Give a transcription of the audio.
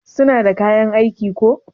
suna da kayan aiki ko?